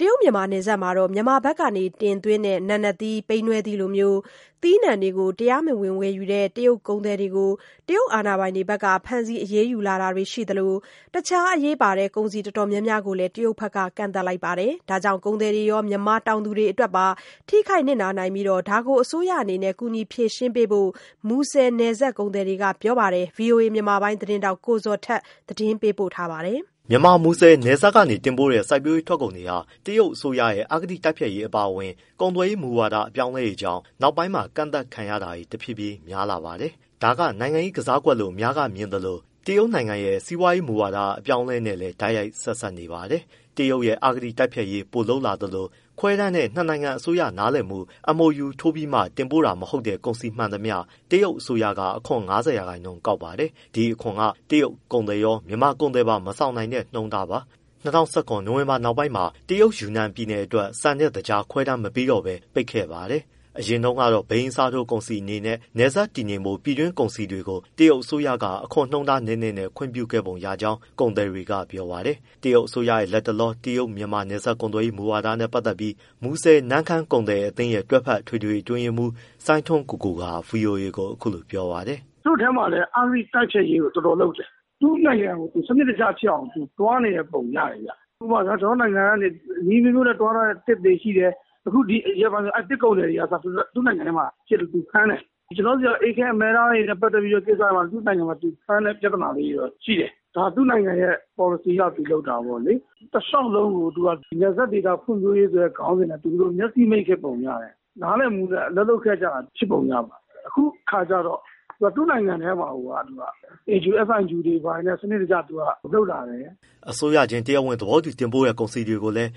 တရုတ်-မြန်မာနယ်စပ်မှာ မြန်မာဖက်က တင်သွင်းတဲ့ နာနတ်သီး၊ ပိန္နဲသီးတွေလို သီးနှံတွေ တရားမဝင်ဝယ်ယူတဲ့ တရုတ်ကုန်သည်တွေကို တရုတ်အာဏာပိုင်တွေဖက် ဖမ်းဆီးအရေးယူလာတာတွေရှိသလို၊ အခြားအရေးပါတဲ့ ကုန်စည်အတော်များများကိုလည်း တရုတ်ဖက်က ကန့်သတ်လိုက်ပါတယ်။ ဒါကြောင့် ကုန်သည်တွေရော မြန်မာတောင်သူတွေအတွက်ပါ ထိခိုက်နစ်နာနိုင်ပြီး၊ ဒါကို အစိုးရအနေနဲ့ ကူညီဖြေရှင်းပေးဖို့ မူဆယ်နယ်စပ်ကုန်သည်တွေက ပြောပါတယ်။ ဗွီအိုအေမြန်မာပိုင်းသတင်းထောက် ကိုဇော်ထက် မေးမြန်းပေးပို့ထားပါတယ်။ မြန်မာ မူဆယ်နယ်စပ်ကနေတင်ပို့တဲ့ စိုက်ပျိုးရေးထွက်ကုန်တွေဟာ တရုတ်ရဲ့ အစိုးရရဲ့ အဂတိတိုက်ဖျက်ရေးအပါအဝင်၊ ကုန်သွယ်ရေးမူဝါဒ အပြောင်းအလဲတွေကြောင့် နောက်ပိုင်းမှာ ကန့်သတ်ခံရတွေ တဖြည်းဖြည်းများလာပါတယ်။ ဒါကနိုင်ငံရေး ကစားကွက်လို့အများစုကမြင်သလို တရုတ်နိုင်ငံရဲ့ စီးပွားရေးမူဝါဒ အပြောင်းအလဲနဲ့လည်း တိုက်ရိုက်ဆက်စပ်နေပါတယ်။ တရုတ်ရဲ့ အဂတိ တိုက်ဖျက်ရေး ပိုလုပ်လာသလို၊ ခွဲတမ်းနဲ့နှစ်နိုင်ငံအစိုးရ နားလည်မှု MoU ထိုးပြီးတင်ပို့တာမဟုတ်တဲ့ ကုန်စည်မှန်သမျှ တရုတ်က အခွန် ၅၀%ကောက်ပါတယ်။ ဒီအခွန်က တရုတ်ကုန်သည်ရော၊ မြန်မာကုန်သည်ပါ မဆောင်နိုင်တဲ့နှုန်းပါ။ ၂၀၁၇ နိုဝင်ဘာနောက်ပိုင်းမှာ တရုတ်၊ ယူနန်ပြည်နယ်အတွက် ဆန်နဲ့သကြား ခွဲတမ်းမပေးတော့ဘဲပိတ်ခဲ့ပါတယ်။ အရင်တုန်းကတော့ ဘိန်းအစားထိုးကုန်စည်အနေနဲ့ နယ်စပ်တည်ငြိမ်ဖို့ ပြည်တွင်းကုန်စည်တွေကို တရုတ်အစိုးရက အခွန်နှုန်းနည်းနည်းနဲ့ ခွင့်ပြုခဲ့ပုံရကြောင်း ကုန်သည်တွေက ပြောပါတယ်။ တရုတ်အစိုးရရဲ့ လက်တလော တရုတ်-မြန်မာနယ်စပ်ကုန်သွယ်ရေး မူဝါဒနဲ့ ပတ်သက်ပြီး မူဆယ်-နမ့်ခမ်းကုန်သည်အသင်းရဲ့ တွဲဖက်အထွေထွေအတွင်းရေးမှူး စိုင်းထွန်းကိုကိုက ဗွီအိုအေကို အခုလိုပြောပါတယ်။ “ သူ့ထဲမှာလည်း အဂတိတိုက်ဖျက်ရေးကို တော်တော်လုပ်တယ်။ သူ့နိုင်ငံကိုသူ စနစ်တကျဖြစ်အောင် သူသွားနေတဲ့ပုံရတယ်ဗျ။ ဥပမာ ကျနော်တို့နိုင်ငံက နည်းအမျိုးမျိုးနဲ့သွားနေတဲ့သစ်တွေရှိတယ် အခုရက်ပိုင်းဒီသစ်ကုန်သည်တွေကအစ သူ့နိုင်ငံထဲမှာဖမ်းတယ်။ ကျနော်တို့နိုင်ငံက အေးခဲအမဲသားတွေနဲ့ ပတ်သက်တဲ့ကိစ္စမှာ သူ့နိုင်ငံမှာဖမ်းတဲ့ပြဿနာလေးတွေတော့ရှိတယ်။ ဒါသူ့နိုင်ငံရဲ့ ပေါ်လစီအရသူလုပ်တာပေါ့လေ။ တလျှောက်လုံးကိုသူက နပ်စပ်ဒေသ ဖွံ့ဖြိုးရေးဆိုတဲ့ခေါင်းစဉ်နဲ့ မျက်စိမှိတ်ခဲ့ပုံရတယ်။ နားလည်မှုနဲ့ အလုပ်လုပ်ခဲ့ကြတာ ဖြစ်ပုံရပါတယ်။ အခုကျတော့ သူ့နိုင်ငံထဲမှာကိုယ်က AQSIQ တွေ ဘာတွေနဲ့သူကစနစ်တကျလုပ်လာတယ်။” အစိုးရချင်းတရားဝင် သဘောတူတင်ပို့တဲ့ ကုန်စည်တွေကိုလည်း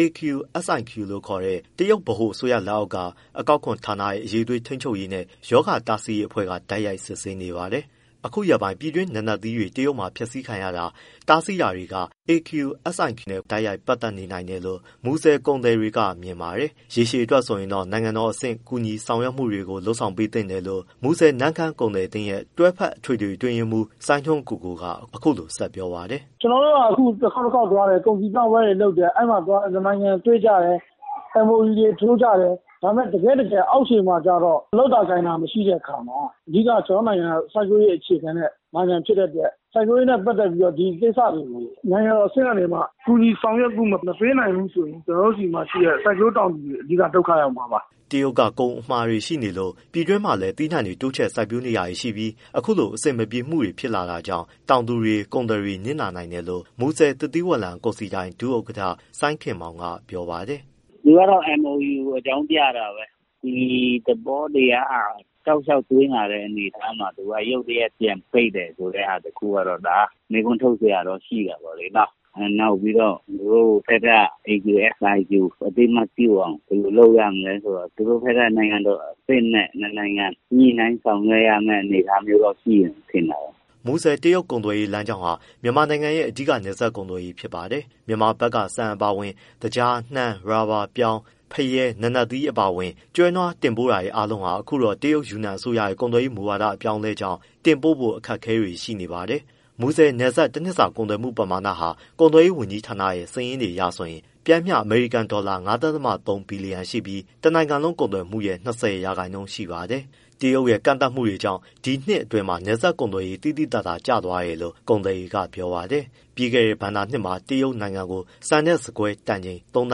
AQSIQ လို့ခေါ်တဲ့ တရုတ်ဗဟိုအစိုးရလက်အောက် အကောက်ခွန်ဌာနရဲ့ အရည်အသွေး ထိန်းချုပ်ရေးနဲ့ ရောဂါတားဆီးရေးအဖွဲ့ကတိုက်ရိုက် စစ်ဆေးနေပါတယ်။ အခုရက်ပိုင်း ပြည်တွင်းနာနတ်သီးတွေ တရုတ်မှာ ဖျက်ဆီးခံရတာ၊ တားဆီးတာတွေက AQSIQ နဲ့တိုက်ရိုက်ပတ်သက်နိုင်တယ်လို့ မူဆယ်ကုန်သည် တွေကမြင်ပါတယ်။ ရေရှည်အတွက်ဆိုရင်တော့ နိုင်ငံတော်အဆင့်ကူညီဆောင်ရွက်မှုတွေလုပ်ပေးသင့်တယ်လို့ မူဆယ်-နမ့်ခမ်းကုန်သည်အသင်းရဲ့ တွဲဖက်အထွေထွေအတွင်းရေးမှူး စိုင်းထွန်းကိုကိုက အခုလိုဆက်ပြောပါတယ်။ “ ကျနော်တို့က တခေါက်တခေါက်သွားတယ်၊ ကုန်စည်ပြပွဲတွေလုပ်တယ်၊ အဲဒီမှာနှစ်နိုင်ငံတွေ့ကြတယ် MoU တွေ ထိုးကြတယ်။ ဒါပေမဲ့ တကယ့်တကယ် အောက်ခြေမှာကျတော့ လုပ်တာကိုင်တာ မရှိတဲ့အခါမှာ အဓိကကျနော်တို့နိုင်ငံက စိုက်ပျိုးရေးနိုင်ငံဖြစ်တဲ့အတွက် စိုက်ပျိုးရေးနဲ့ ပတ်သက်ပြီးဒီကိစ္စတွေကို နိုင်ငံတော်အဆင့်ကနေပြီးတော့ ကူညီဆောင်ရွက်မှုမပေးနိုင်ဘူးဆိုရင် ကျနော်တို့ဆီမှာရှိတဲ့ စိုက်ပျိုုးတောင်သူတွေ အဓိကဒုက္ခရောက်မှာပါ။” တရုတ်က ကုန်အမှာတွေရှိနေလ့ို ပြည်တွင်းမှာလည်း သီးနှံတွေ တိုးချဲ့စိုက်နေကြပြီးမှ အခုလိုအဆင်မပြေမှုတွေ ဖြစ်လာတာကြောင့် တောင်သူတွေ၊ ကုန်သည်တွေနစ်နာနိုင်တယ်လို့ မူဆယ် သစ်သီးဝလံကုန်စည်ဒိုင် ဒုဥက္ကဋ္ဌ စိုင်းခင်မောင်က ပြောပါတယ်။ “ သူက တော့ MoU ကိုအကြောင်းပြတာပဲ ဒီသဘောတရားက တောက်လျှောက်သွားလာတဲ့အနေအထားမျိုးမှာ ရုတ်တရက်ပြန်ပိတ်မယ် ဆိုတဲ့ဟာတခုကတော့ မေးခွန်းထုတ်စရာတော့ရှိပေါ့လေနော်။ နောက်ပြီးတော့သူတို့ဘက်က AQSIQ အသိအမှတ်ပြုအောင် ဘယ်လိုလုပ်ရမလဲဆိုတော့ သူတို့ဘက်က နိုင်ငံတော်အဆင့်နဲ့ နှစ်နိုင်ငံညှိနှိုင်းဆောင်ရွက်ရမယ့် အနေအထားမျိုးရှိမှ ထင်တာပဲ။” မူဆယ်-တရုတ်ကုန်သွယ်ရေးလမ်းကြောင်းဟာ မြန်မာနိုင်ငံရဲ့ အဓိက နယ်စပ် ကုန်သွယ်ရေးဖြစ်ပါတယ်။ မြန်မာဘက်က ဆန်အပါအဝင် သကြား၊ နှမ်း၊ ရော်ဘာ၊ ပြောင်း၊ သကြား၊ ဖရဲ၊ နာနတ်သီးအပါအဝင် ကျွဲနွားတင်ပို့မှုအားလုံးဟာ အခုတော့ တရုတ် ယူနန်အစိုးရ ကုန်သွယ်ရေး မူဝါဒအပြောင်းအလဲကြောင့် တင်ပို့ဖို့ အခက်အခဲတွေရှိနေပါတယ်။ မူဆယ်နယ်စပ် တနှစ်စာကုန်သွယ်မှုပမာဏဟာ ကုန်သွယ်ရေးဝန်ကြီးဌာနရဲ့စာရင်းအရဆိုရင် ပျမ်းမျှ အမေရိကန်ဒေါ်လာ ၅.၃ ဘီလီယံရှိပြီး တနိုင်ငံလုံးကုန်သွယ်မှုပမာဏရဲ့ ၂၀ရာခိုင်နှုန်းရှိပါတယ်။ တရုတ်ရဲ့ ကန့်သတ်မှုတွေကြောင့် ဒီနှစ်အတွင်းမှာ နယ်စပ်ကုန်သွယ်ရေး သိသိသာသာကျသွား တယ်လို့ကုန်သည်တွေကပြောပါတယ်။ ပြီးခဲ့တဲ့ ဘဏ္ဍာနှစ်မှာ တရုတ်ကို ဆန်နဲ့ဆန်ကွဲ တန်ချိန် သုံးသ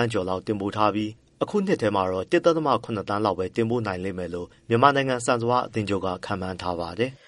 န်းကျော်လောက်တင်ပို့ထားပေမဲ့ အခုနှစ်ထဲတော့ ၁.၇ သန်းလောက်ပဲတင်ပို့နိုင်မယ်လို့ မြန်မာနိုင်ငံ ဆန်စပါးအသင်းချုပ်က ခန့်မှန်းထားပါတယ်။